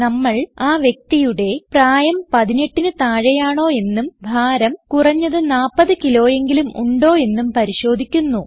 നമ്മൾ ആ വ്യക്തിയുടെ പ്രായം 18ന് താഴെയാണോയെന്നും ഭാരം കുറഞ്ഞത് 40kgയെങ്കിലും ഉണ്ടോ എന്നും പരിശോധിക്കുന്നു